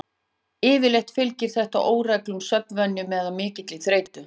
Yfirleitt fylgir þetta óreglulegum svefnvenjum eða mikilli þreytu.